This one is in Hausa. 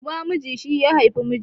Uban miji shi ya haifi mijin